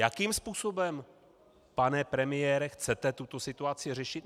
Jakým způsobem, pane premiére, chcete tuto situaci řešit?